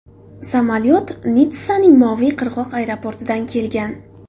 Samolyot Nitssaning Moviy qirg‘oq aeroportidan kelgan.